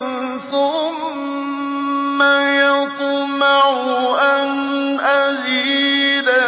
ثُمَّ يَطْمَعُ أَنْ أَزِيدَ